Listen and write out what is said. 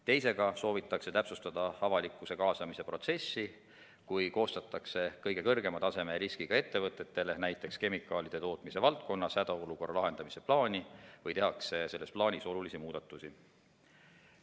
Teisega soovitakse täpsustada avalikkuse kaasamise protsessi, kui koostatakse kõige kõrgema taseme riskiga ettevõtetele, näiteks kemikaalide tootmise valdkonnas, hädaolukorra lahendamise plaani või tehakse selles plaanis olulisi muudatusi.